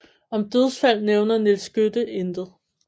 Om dødsfald nævner Nils Skytte intet